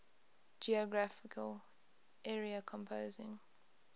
geographical area composing